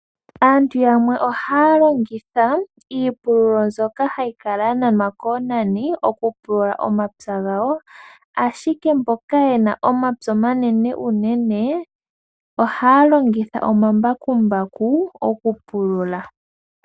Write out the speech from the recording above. Aantu yamwe ohaya longitha iipululo mbyoka hayi kala ya nanwa koonani okupulula omapya gawo. Ashike mboka yena omapya omanene unene ohaya longitha omambakumbaku okupulula.